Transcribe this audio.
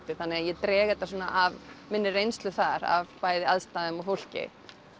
þannig að ég dreg þetta svona af minni reynslu þar af bæði aðstæðum og fólki